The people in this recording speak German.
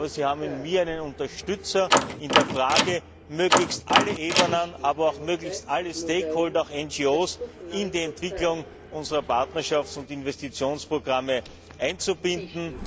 Aber Sie haben in mir einen Unterstützer in der Frage, möglichst alle Ebenen, aber auch möglichst alle Stakeholder, auch NGO, in die Entwicklung unserer Partnerschafts und Investitionsprogramme einzubinden.